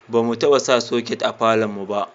ba mu taba sa soket a falon mu ba